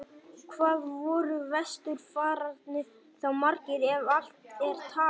Hvað voru vesturfararnir þá margir, ef allt er talið?